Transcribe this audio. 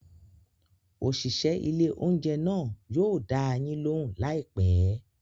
Òṣìṣẹ́ ilé oúnjẹ náà yóò dá a yín lóhùn láì pẹ̀ẹ́.